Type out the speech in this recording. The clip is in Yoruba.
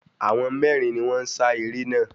Àwọn mérin ni wón n sa eré naa